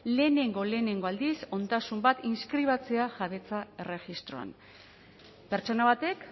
lehenengo lehenengo aldiz ondasun bat inskribatzea jabetza erregistroan pertsona batek